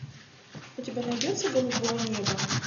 у тебя найдется голубое небо